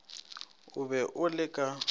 o be o le ka